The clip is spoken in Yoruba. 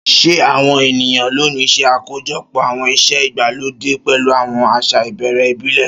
Ṣé àwọn ènìyàn lónìí ṣe àkójọpọ̀ àwọn ìṣe ìgbàlódé pẹ̀lú àwọn àṣà ìbẹ̀rẹ̀ ìbílẹ̀?